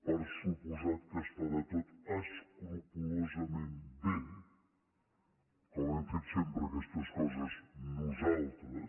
per descomptat que es farà tot escrupolosament bé com hem fet sempre aquestes coses nosaltres